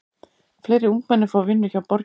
Fleiri ungmenni fá vinnu hjá borginni